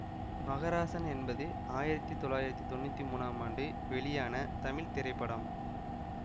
மகராசன் என்பது ஆயிரத்தி தொள்ளாயிரத்தி தொன்னூத்தி மூனாம் ஆண்டு வெளியான தமிழ் திரைப்படம்